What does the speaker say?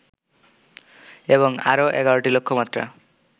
এবং আরো ১১টি লক্ষ্যমাত্রা